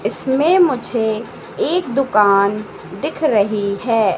इसमें मुझे एक दुकान दिख रही है।